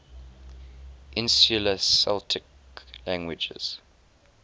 insular celtic languages